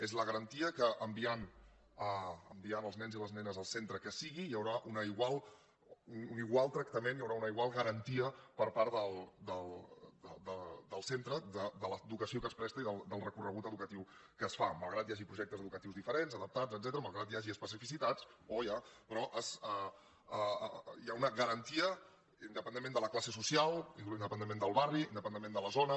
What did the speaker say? és la garantia que enviant els nens i les nenes al cen·tre que sigui hi haurà un igual tractament hi haurà una igual garantia per part del centre de l’educació que es presta i del recorregut educatiu que es fa mal·grat que hi hagi projectes educatius diferents adap·tats etcètera malgrat que hi hagi especificitats però hi ha una garantia independentment de la classe so·cial independentment del barri independentment de la zona